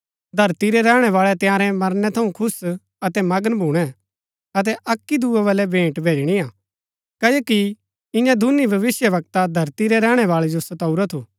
धरती रै रैहणैवाळै तंयारै मरनै थऊँ खुश अतै मगन भूणै अतै अक्की दूये बलै भेंट भैजणिआ क्ओकि इआं दूनी भविष्‍यवक्ता धरती रै रैहणैवाळै जो सताऊरा थू